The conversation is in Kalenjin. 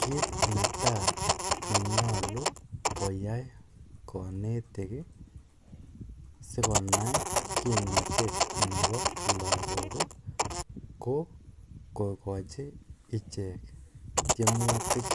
Kit netai nenyolu koyai konetik sikonai kimnotet nebo lakok ko kokochi ichek tiemutik